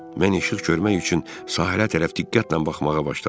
Mən işıq görmək üçün sahilə tərəf diqqətlə baxmağa başladım.